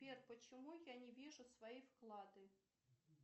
сбер почему я не вижу свои вклады